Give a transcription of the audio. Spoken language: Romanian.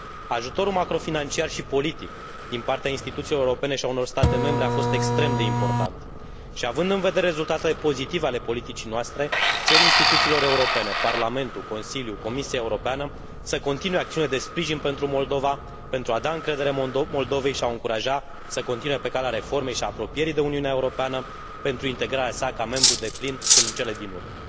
Ajutorul macrofinanciar și politic din partea instituțiilor europene și a unor state membre a fost extrem de important. Și având în vedere rezultatele pozitive ale politicii noastre, cer instituțiilor europene Parlamentul, Consiliul, Comisia Europeană să continue acțiunile de sprijin pentru Moldova, pentru a da încredere Moldovei și a o încuraja să continue pe calea reformei și a apropierii de Uniunea Europeană, pentru integrarea sa ca membru deplin în cele din urmă.